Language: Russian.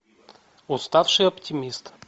уставший оптимист